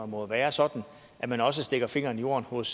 må være sådan at man også stikker fingeren i jorden hos